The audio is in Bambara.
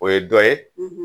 O ye dɔ ye